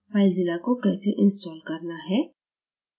filezilla को कैसे install करना है